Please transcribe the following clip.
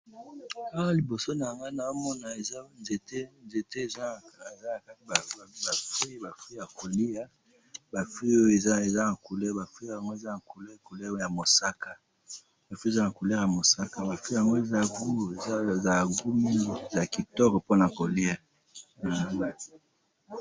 Awa na moni ba mbuma ya kolia ya kitoko eza na langi ya mosaka likolo ya nzete.